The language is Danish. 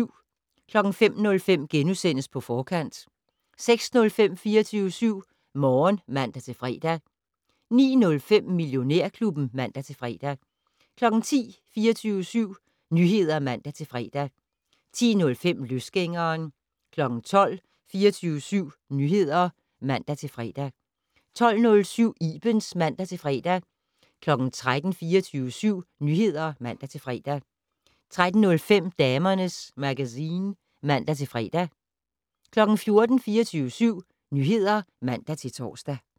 05:05: På Forkant * 06:05: 24syv Morgen (man-fre) 09:05: Millionærklubben (man-fre) 10:00: 24syv Nyheder (man-fre) 10:05: Løsgængeren 12:00: 24syv Nyheder (man-fre) 12:07: Ibens (man-fre) 13:00: 24syv Nyheder (man-fre) 13:05: Damernes Magazine (man-fre) 14:00: 24syv Nyheder (man-tor)